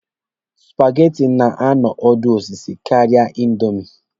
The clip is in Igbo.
Supageti na-anụ ọdụ osisi karịa indomi.